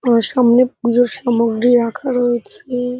তার সামনে পূজোর সামগ্রী রাখা রয়েছে।